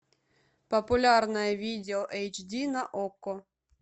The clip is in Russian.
популярное видео эйч ди на окко